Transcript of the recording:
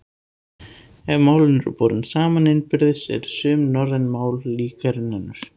Ef málin eru borin saman innbyrðis eru sum norræn mál líkari en önnur.